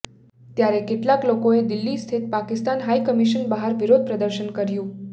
ત્યારે કેટલાક લોકોએ દિલ્હી સ્થિત પાકિસ્તાન હાઈકમિશન બહાર વિરોધ પ્રદર્શન કર્યું